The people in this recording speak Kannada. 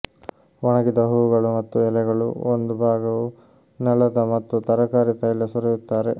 ಒಣಗಿದ ಹೂವುಗಳು ಮತ್ತು ಎಲೆಗಳು ಒಂದು ಭಾಗವು ನೆಲದ ಮತ್ತು ತರಕಾರಿ ತೈಲ ಸುರಿಯುತ್ತಾರೆ